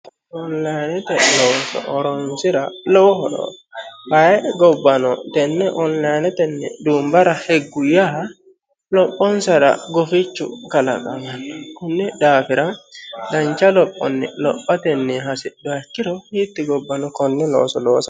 onlinete looso horonsira lowo horo uyiitanno ayee gobbano tenne onlinetenni duumbara higgu yaa lophonsara gufichu kalaqamanno kunni daafira dancha lophonni lophate hasidhuha ikkiro hiitti gobbano konne looso loosa hasiissanno.